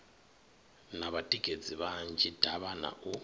na vhatikedzi vhanzhi davhana u